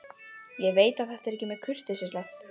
Ég veit að þetta er ekki mjög kurteislegt.